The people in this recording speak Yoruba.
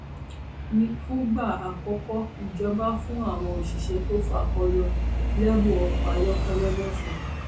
fúngbà àkọkọ ìjọba fún àwọn òṣìṣẹ tó fakọ yọ lẹbùn ọkọ ayọkẹlẹ lọsùn